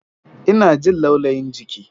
Ina jin laulayin jiki.